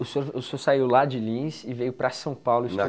O senhor o senhor saiu lá de Lins e veio para São Paulo